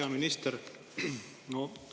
Hea minister!